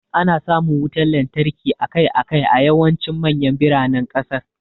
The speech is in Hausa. Ana samun wutar lantarki akai-akai a yawancin manyan biranen kasar.